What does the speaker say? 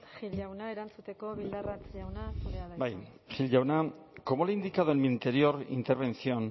gil jauna erantzuteko bildarratz jauna zurea da hitza bai gil jauna como le he indicado en mi anterior intervención